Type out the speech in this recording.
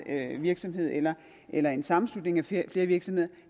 virksomhed eller eller en sammenslutning af flere flere virksomheder